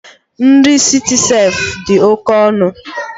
Nri Citicef dị oke ọnụ